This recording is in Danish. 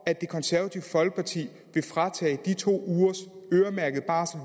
at det konservative folkeparti vil fratage mænd de to ugers øremærkede barsel